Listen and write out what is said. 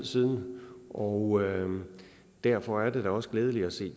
siden og derfor er det da også glædeligt at se